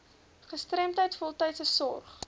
gestremdheid voltydse sorg